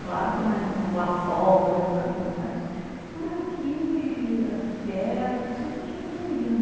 Claro que nós não fomos lá fora, nunca fomos, mas por aqui, aqui perto, sempre a gente ia, né?